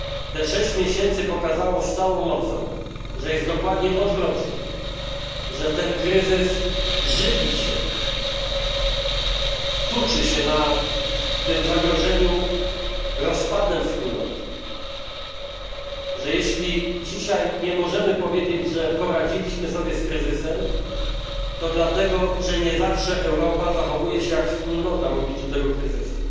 Te sześć miesięcy pokazało z całą mocą, że jest dokładnie odwrotnie że ten kryzys żywi się, tuczy się na tym zagrożeniu rozpadem Wspólnoty, że jeśli dzisiaj nie możemy powiedzieć, iż poradziliśmy sobie z kryzysem, to dlatego, że nie zawsze Europa zachowuje się jak wspólnota w obliczu tego kryzysu.